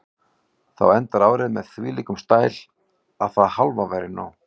Þú endar árið með þvílíkum stæl að það hálfa væri nóg.